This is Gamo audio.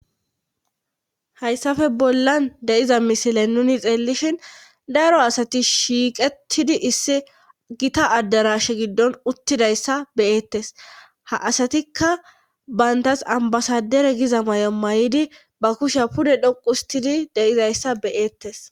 Hayssafe bollan deiza misile nuni xeellishin daro asati shiiqetidi issi gita addarashe giddon uttidayssa beyeettes ha asatikka bayntas ambasadere giza may'o may'idi ba kusha pude dhoquustidi deizayssa beyeettes.